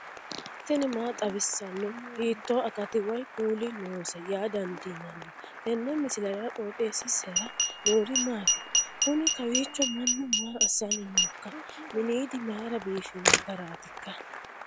tini maa xawissanno ? hiitto akati woy kuuli noose yaa dandiinanni tenne misilera? qooxeessisera noori maati? kuni kawiicho mannu maa asanni nooikka miniidi mayra biifanno garaatikka